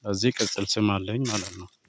ስለዚህ ቅጽል ስም አለኝ ማለት ነው